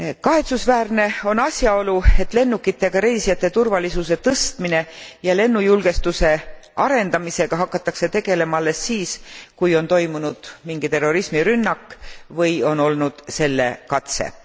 Kahetsusväärne on asjaolu, et lennureisijate turvalisuse tõstmise ja lennujulgestuse arendamisega hakatakse tegelema alles siis, kui on toimunud mingi terrorismirünnak või on olnud selle katse.